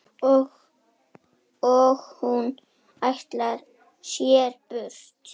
Og hún ætlar sér burt.